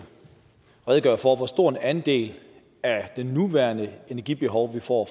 redegøre for hvor stor en andel af det nuværende energibehov vi får